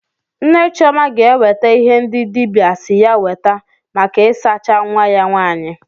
Nne Chioma ga-ewete ihe ndị dibịa si ya weta maka isacha nwa ya nwaanyị.